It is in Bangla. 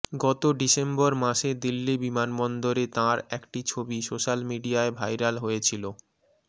গত ডিসেম্বর মাসে দিল্লি বিমানবন্দরে তাঁর একটি ছবি সোশ্যাল মিডিয়ায় ভাইরাল হয়েছিল